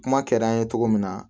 Kuma kɛra an ye cogo min na